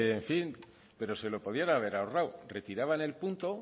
en fin se lo podrían haber ahorrado retiraban el punto